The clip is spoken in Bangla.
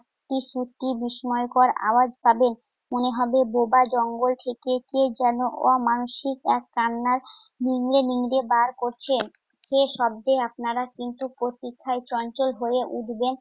বিস্ময়কর আওয়াজ পাবেন। মনে হবে বোবা জঙ্গল থেকে কে যেন অমানুষিক এক কান্না নিংড়ে নিংড়ে বার করছে। সে শব্দে আপনারা কিন্তু প্রতীক্ষায় চঞ্চল হয়ে উঠবেন।